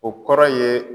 O kɔrɔ ye